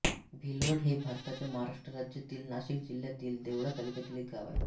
भिलवड हे भारताच्या महाराष्ट्र राज्यातील नाशिक जिल्ह्यातील देवळा तालुक्यातील एक गाव आहे